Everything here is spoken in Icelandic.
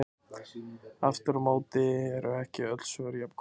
Aftur á móti eru ekki öll svör jafngóð.